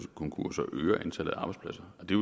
konkurser og øger antallet af arbejdspladser og det